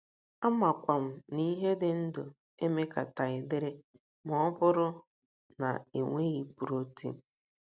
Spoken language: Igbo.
Amakwa m na ihe dị ndụ emekataghị dịrị ma ọ bụrụ na e nweghị protin.